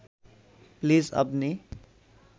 please আপনি